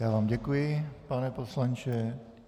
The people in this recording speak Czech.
Já vám děkuji, pane poslanče.